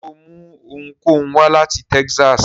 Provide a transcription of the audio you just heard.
Ṣe o mú ohunkóhun wá lati Texas?